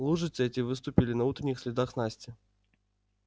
лужицы эти выступили на утренних следах насти